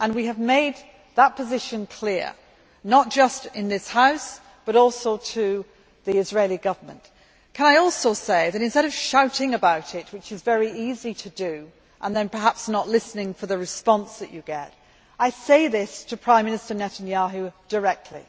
We have made that position clear, not just in this House, but also to the Israeli Government. Can I also say that, instead of shouting about it which is very easy to do, perhaps without listening for the response that you get I say this to Prime Minister Netanyahu directly.